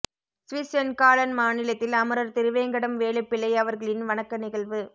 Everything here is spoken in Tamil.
சுவிஸ் சென்காளன் மாநிலத்தில் அமரர் திருவேங்கடம் வேலுப்பிள்ளை அவர்களின் வணக்க நிகழ்வு